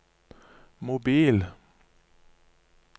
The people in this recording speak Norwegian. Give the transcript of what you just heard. mobil